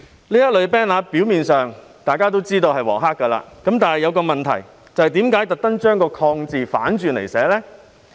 大家也知道，表面上這類 banner 是"黃黑"的，但我有一個疑問：為何刻意把"抗"字反轉來寫？